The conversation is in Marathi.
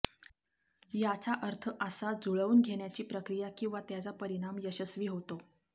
याचा अर्थ असा जूळवून घेण्याची प्रक्रिया किंवा त्याचा परिणाम यशस्वी होते